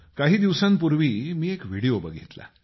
काही दिवसांपूर्वी मी एक व्हिडिओ बघितला